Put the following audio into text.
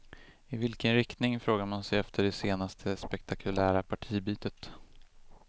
I vilken riktning, frågar man sig efter det senaste spektakulära partibytet.